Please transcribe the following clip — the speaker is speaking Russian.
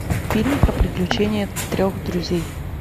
фильм про приключения трех друзей